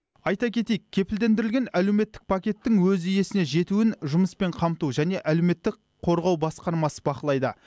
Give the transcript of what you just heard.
айта кетейік кепілдендірілген әлеуметтік пакеттің өз иесіне жетуін жұмыспен қамту және әлеуметтік қорғау басқармасы бақылайды